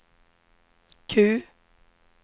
Q